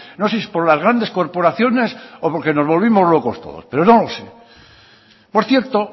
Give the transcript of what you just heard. no sé si por las grandes corporaciones o porque nos volvimos locos todos pero no lo sé por cierto